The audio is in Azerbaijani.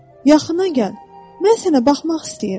Yaxına gəl, mən sənə baxmaq istəyirəm.